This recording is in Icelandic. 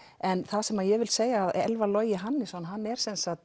en það sem ég vil segja Elfar Logi Hannesson er